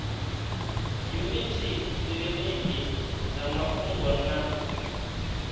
yuniti kiliniki dza mafhungo na